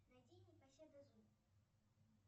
найди непоседа зу